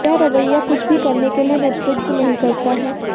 यह रवैया कुछ भी करने के लिए नेतृत्व नहीं करता है